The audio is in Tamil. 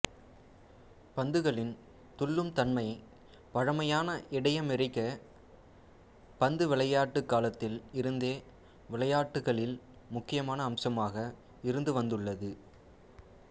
பந்துகளின் துள்ளும் தன்மை பழமையான இடையமெரிக்கப் பந்துவிளையாட்டுக் காலத்தில் இருந்தே விளையாட்டுகளில் முக்கியமான அம்சமாக இருந்துவந்துள்ளது